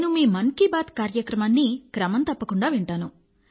నేను మీ మన్ కీ బాత్ కార్యక్రమాన్ని క్రమం తప్పకుండా వింటాను